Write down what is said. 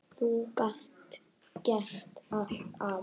Þú gast gert allt, afi.